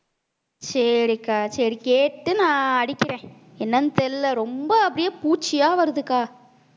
சரிக்கா சரி கேட்டு நான் அடிக்கிறேன் என்னன்னு தெரியலே ரொம்ப அப்படியே பூச்சியா வருதுக்கா